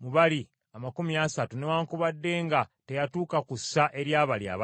mu bali amakumi asatu newaakubadde nga teyatuuka ku ssa ery’abali abasatu.